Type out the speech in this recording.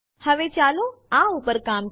હવે ચાલો આ ઉપર કામ કરીએ